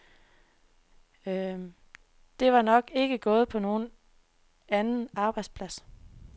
Det var nok ikke gået på nogen anden arbejdsplads.